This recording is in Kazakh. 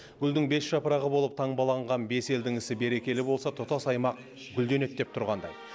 гүлдің бес жапырағы болып таңбалаған бес елдің ісі берекелі болса тұтас аймақ гүлденеді деп тұрғандай